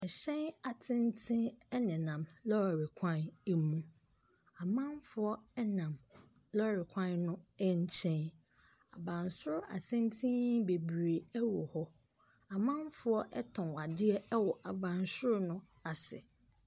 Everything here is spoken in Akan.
Ahyɛn atenten ɛna nam lɔɔre kwan emu. Amanfoɔ ɛnam lɔɔre kwan no ɛnkyɛn. Abansro atenten bebree ɛwɔ hɔ. Amanfoɔ ɛtɔn adeɛ ɛwɔ abansro no ase.